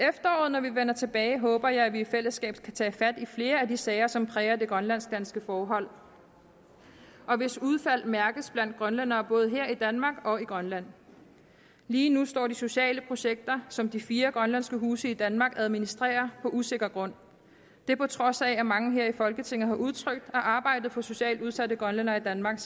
når vi vender tilbage håber jeg at vi i fællesskab kan tage fat på flere af de sager som præger det grønlandsk danske forhold og hvis udfald mærkes blandt grønlændere både her i danmark og i grønland lige nu står de sociale projekter som de fire grønlandske huse i danmark administrerer på usikker grund det på trods af at mange her i folketinget har udtrykt at arbejdet for socialt udsatte grønlændere i danmark